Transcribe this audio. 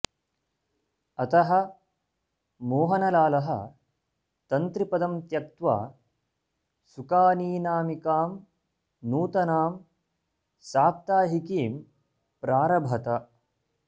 अतः मोहनलाल तन्त्रिपदं त्यक्त्वा सुकानीनामिकां नूतनां साप्ताहिकीं प्रारभत